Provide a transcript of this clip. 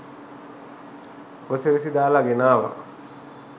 උපසිරසි දාලා ගෙනාවා.